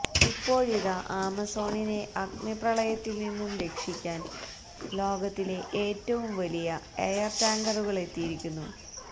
ഇപ്പോഴിതാ ആമസോണിനെ അഗ്നിപ്രളയത്തില് നിന്നും രക്ഷിക്കാന് ലോകത്തിലെ ഏറ്റവും വലിയ എയര് ടാങ്കറുകളെത്തിയിരിക്കുന്നു